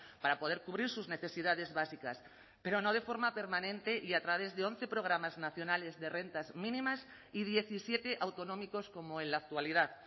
para poder cubrir sus necesidades básicas pero no de forma permanente y a través de once programas nacionales de rentas mínimas y diecisiete autonómicos como en la actualidad